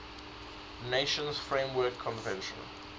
nations framework convention